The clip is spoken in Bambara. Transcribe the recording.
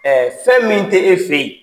fɛn min tɛ e fɛ ye